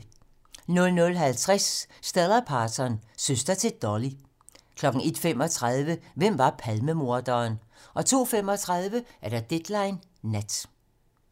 00:50: Stella Parton - søster til Dolly 01:35: Hvem var Palmemorderen? 02:35: Deadline nat